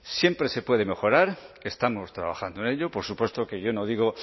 siempre se puede mejorar estamos trabajando en ello por supuesto que yo no digo